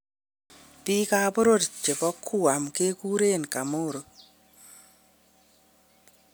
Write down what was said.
Biik ab boror chebo Guam keguren Chamorro.